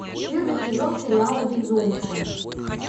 первый сезон сериала безумцы